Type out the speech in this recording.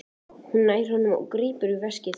Hún nær honum og grípur í veskið.